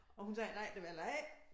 Og hun sagde nej det vil jeg ikke